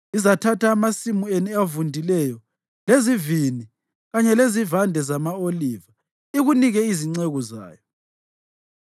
Izathatha amasimu enu avundileyo lezivini kanye lezivande zama-oliva ikunike izinceku zayo.